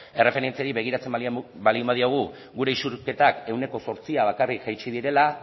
erreferentziari begiratzen baldin badiogu gure isurketak ehuneko zortzia bakarrik jaitsi direla